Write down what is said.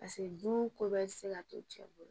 Paseke dun ko bɛɛ tɛ se ka to cɛ bolo